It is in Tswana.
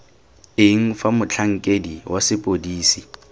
eng fa motlhankedi wa sepodisi